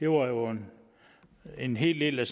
var jo en en hel del der